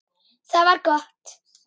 Það var gott